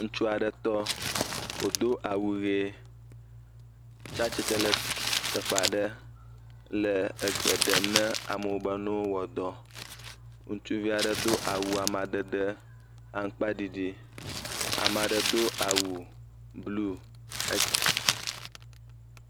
Ŋutsu aɖe tɔ, wòdo awu ʋee tsa tsitre le teƒe aɖe le egbe ɖem na amewo be ne wowɔ dɔ. Ŋutsuvi aɖe do awu amadede aŋkpaɖiɖi. Ama ɖe do awu bluu xe.